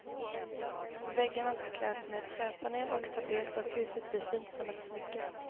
Väggarna ska kläs med träpanel och tapet och huset bli fint som ett smycke.